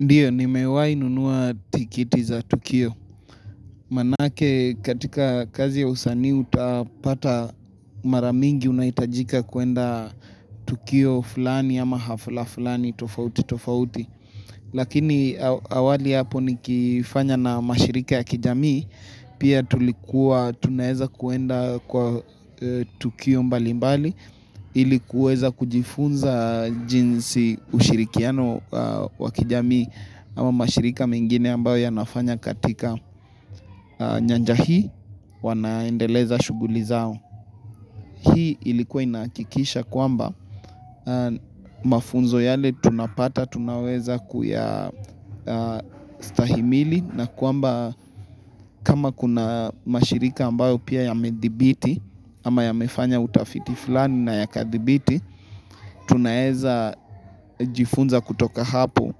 Ndio, nimewahinunua tikiti za tukio. Manake katika kazi ya usanii utapata mara mingi unahitajika kwenda tukio fulani ama hafla fulani tofauti tofauti. Lakini awali hapo nikifanya na mashirika ya kijamii, pia tulikuwa tunaeza kwenda kwa tukio mbali mbali. Ili kuweza kujifunza jinsi ushirikiano wakijamii ama mashirika mengine ambayo yanafanya katika nyanja hii wanaendeleza shughuli zao. Hii ilikuwa inahakikisha kwamba mafunzo yale tunapata tunaweza kuyastahimili na kwamba kama kuna mashirika ambayo pia yamedhibiti ama yamefanya utafiti fulani na yakadhibiti tunaeza jifunza kutoka hapo